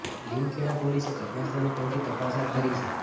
લીમખેડા પોલીસે ઘટના સ્થળે પહોંચી તપાસ હાથ ધરી છે